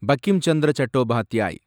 Bankim Chandra Chattopadhyay